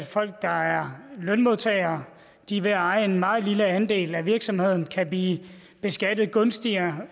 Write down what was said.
folk der er lønmodtagere ved at eje en meget lille andel af virksomheden kan blive beskattet gunstigere